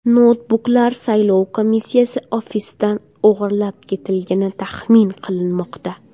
Noutbuklar saylov komissiyasi ofisidan o‘g‘irlab ketilgani taxmin qilinmoqda.